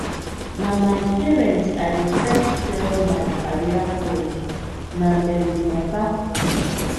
na my parents i dey first tell my career goals na dem be my backbone